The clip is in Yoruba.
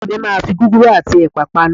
Àbúrò mi máa fi gúgúrú àti ẹ̀pà panu